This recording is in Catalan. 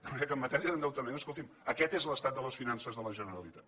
de manera que en matèria d’endeutament escolti’m aquest és l’estat de les finances de la generalitat